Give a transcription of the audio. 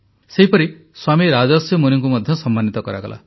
ସେହିପରି ସ୍ୱାମୀ ରାଜର୍ଷି ମୁନିଙ୍କୁ ମଧ୍ୟ ସମ୍ମାନିତ କରାଗଲା